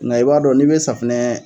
Nka i b'a dɔn n'i bɛ safunɛ ye